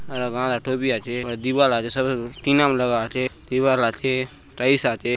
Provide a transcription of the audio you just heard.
यहाँ एक आचे दिवार आचे शबे टीना लगला आचे दीवाल आचे टाइल्स आचे।